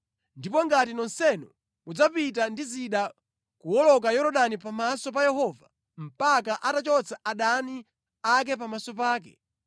ndipo ngati nonsenu mudzapita ndi zida kuwoloka Yorodani pamaso pa Yehova mpaka atachotsa adani ake pamaso pake,